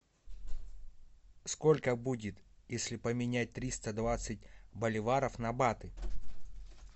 сколько будет если поменять триста двадцать боливаров на баты